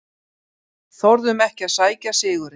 Þorðum ekki að sækja sigurinn